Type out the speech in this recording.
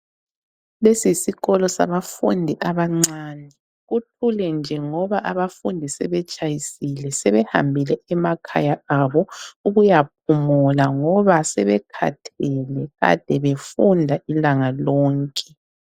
Lesi yisikolo sabafundi abancane, kuthule nje ngoba abafundi sebetshayisile sebehambile emakhaya abo ukuya phumula ngoba sebekhathele kade befunda ilanga lonke.